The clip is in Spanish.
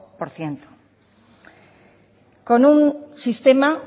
por ciento con un sistema